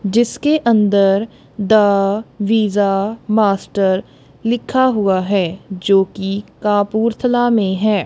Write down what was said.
जिसके अंदर the visa master लिखा हुआ है जो कि कपूरथला में है।